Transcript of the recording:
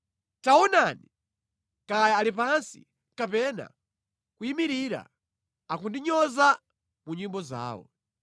Tawaonani! Kaya ali pansi kapena kuyimirira, akundinyoza mu nyimbo zawo.